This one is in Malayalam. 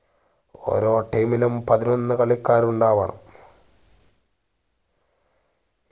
ഓരോ team ലും പതിനൊന്നു കളിക്കാരുണ്ടാവണം